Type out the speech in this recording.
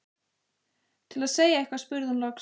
Til að segja eitthvað spurði hún loks